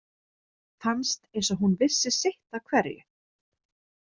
Fannst eins og hún vissi sitt af hverju.